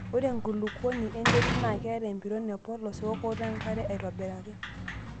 Ore enkulukuoni enterit naa keata empiron epolos weokotoo enkare aitobiraki.